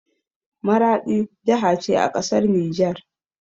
Maraɗi jaha ce a ƙasar nijar.